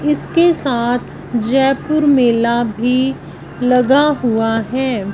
इसके साथ जयपुर मेला भी लगा हुआ है।